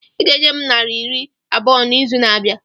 Ị ga-enye m naira iri abụọ n'izu na-abịa!